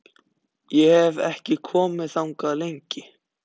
Ég hef ekki komið þangað lengi.